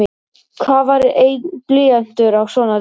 Hvað var einn blýantur á svona degi?